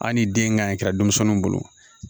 Hali ni den ka ɲi kɛ denmisɛnniw bolo